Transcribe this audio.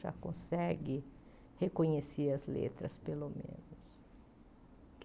Já consegue reconhecer as letras, pelo menos.